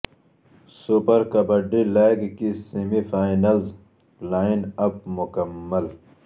super kabaddi league کی semi finals line up مکمل